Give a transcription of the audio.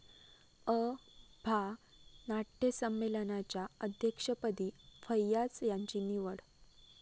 अ.भा. नाट्यसंमेलनाच्या अध्यक्षपदी फैय्याज यांची निवड